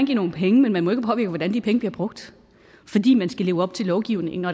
give nogle penge men man må ikke påvirke hvordan de penge bliver brugt fordi man skal leve op til lovgivningen